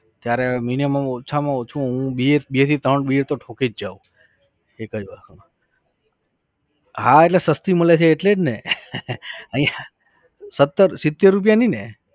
ત્યારે Minimum ઓછામાં ઓછું હું બે બે થી ત્રણ beer તો ઠોકી જ જવ. એક જ વખતમાં. હા એટલે સસ્તી મળે છે એટલે જ ને અહીંયા सत्तर સીતેર રૂપિયાની ને